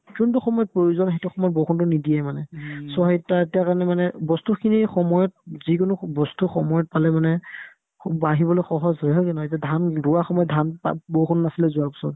যোনতো সময়ত প্ৰয়োজন সেইটো সময়ত বৰষুণতো নিদিয়ে মানে so সেই তাত তেওঁৰ কাৰণে মানে বস্তুখিনি সময়ত যিকোনো বস্তু সময়ত পালে মানে বাঢ়িবলৈ সহজ হয় haa সেনেকে নহয় যে ধান ৰোৱা সময়ত ধান পাত বৰষুণ নাছিলে যোৱা বছৰ